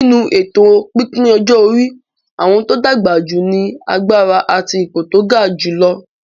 Nínú èto pípín ọjọ́ orí, àwọn tó dàgbà jù ní agbára àti ipò tó ga jùlọ.